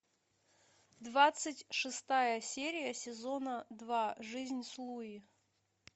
двадцать шестая серия сезона два жизнь с луи